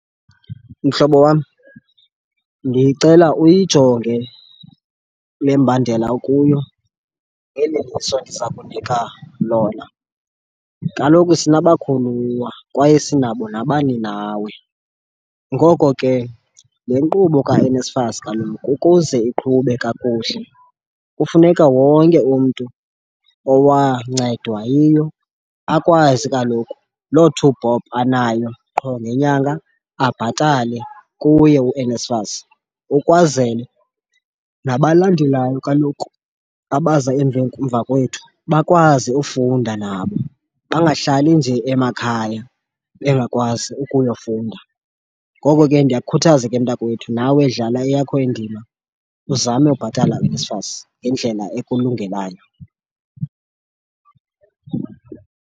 Mhlobo wam, ndicela uyijonge le mbandela ukuyo ngeli liso ndiza kunika lona. Kaloku sinabakhuluwa kwaye sinabo nabaninawe. Ngoko ke le nkqubo kaNSFAS kaloku ukuze iqhube kakuhle kufuneka wonke umntu owancedwa yiyo akwazi kaloku loo two bob anayo qho ngenyanga, abhatale kuye uNSFAS ukwazele nabalandelayo kaloku abaza emveni, mva kwethu bakwazi ufunda, nabo bangahlali nje emakhaya bengakwazi ukuyofunda. Ngoko ke ndiyakukhuthaza ke mntakwethu nawe dlala eyakho indima uzame ubhatala uNSFAS ngendlela ekulungelayo.